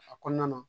A kɔnɔna na